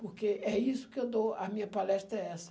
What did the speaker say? Porque é isso que eu dou, a minha palestra é essa.